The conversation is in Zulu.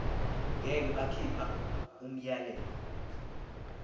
ngeke bakhipha umyalelo